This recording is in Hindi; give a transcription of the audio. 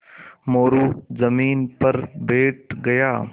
मोरू ज़मीन पर बैठ गया